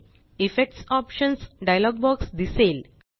effects options dialog box दिसेल